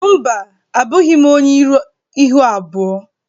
Mba, abụghị m onye ihu abụọ